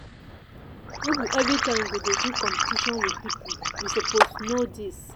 no be everytime you go dey do competition wit pipo you suppose know dis.